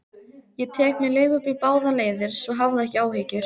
Ég tek mér leigubíl báðar leiðir, svo hafðu ekki áhyggjur.